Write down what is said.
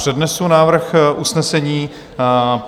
Přednesu návrh usnesení.